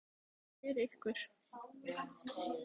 Er þetta ekki eitthvað fyrir ykkur